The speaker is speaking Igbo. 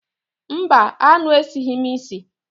Mba, aṅụ esighị m isi.